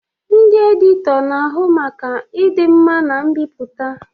Ndị editọ na-ahụ maka ịdị mma na mbipụta.